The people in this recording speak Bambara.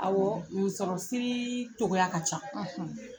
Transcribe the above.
Awɔ musɔrɔ siriii cogoya ka ca .